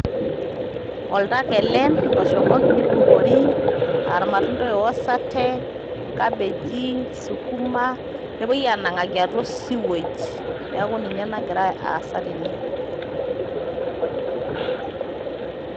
Oltaka ele oshomoki neibukori, aarmatunda owosate enkapeji, sukumaa, nepoi aanang'aki atwa osiwej' neeku ninye nagira aasa tene.